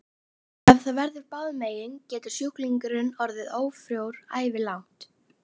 Ef það verður báðum megin getur sjúklingurinn orðið ófrjór ævilangt.